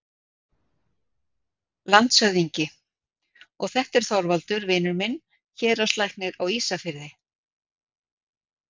LANDSHÖFÐINGI: Og þetta er Þorvaldur, vinur minn, héraðslæknir á Ísafirði.